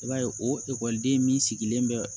I b'a ye o ekɔliden min sigilen bɛ